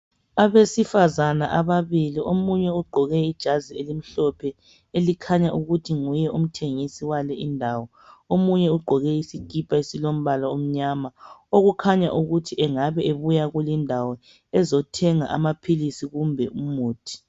Abesifazana ababili , omunye ugqoke ijazi elimhlophe ,elikhanya ukuthi nguye umthengisi wale indawo .Omunye ugqoke isikhipha esilombala omnyama okukhanya ukuthi engabe ebuya kulindawo ezothenga amaphilisi kumbe umuthi.